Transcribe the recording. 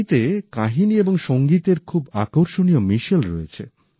এটিতে কাহিনী এবং সঙ্গীতের খুব আকর্ষণীয় মিশেল রয়েছে